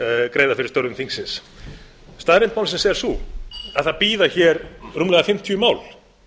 greiða fyrir störfum þingsins staðreynd málsins er sú að það bíða hér rúmlega fimmtíu mál